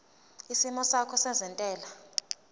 isimo sakho sezentela